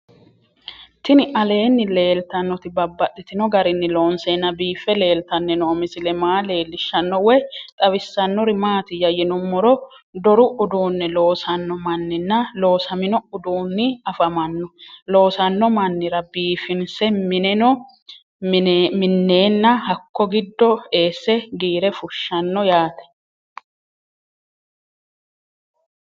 Tinni aleenni leelittannotti babaxxittinno garinni loonseenna biiffe leelittanno misile maa leelishshanno woy xawisannori maattiya yinummoro doru uduunne loosanno manninna loosaminno uduunni afammanno loosanno mannira biiffinsse mineno mineenna hakko gido eese giire fushanno yaatte